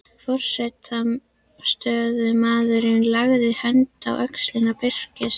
Forstöðumaðurinn lagði hönd á öxl Birkis.